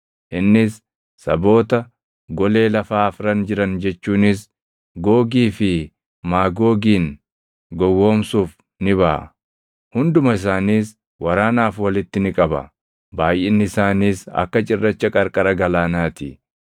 innis saboota golee lafaa afran jiran jechuunis Googii fi Maagoogin gowwoomsuuf ni baʼa; hunduma isaaniis waraanaaf walitti ni qaba. Baayʼinni isaaniis akka cirracha qarqara galaanaa ti.